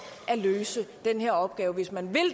at løse den her opgave hvis man